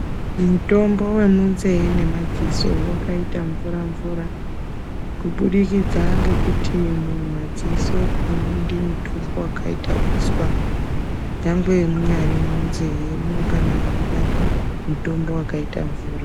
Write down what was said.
Mitombo ye munze ne maziso wakaita mvura mvura ku budikidza ngekuti mu madziso amudi mutombo wakaita uswa mungange munyari mu nzee mu nongana meida mutombo wakaita mvura.